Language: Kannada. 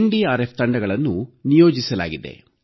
ಎನ್ಡಿಆರ್ಎಫ್ ತಂಡಗಳನ್ನು ನಿಯೋಜಿಸಲಾಗಿದೆ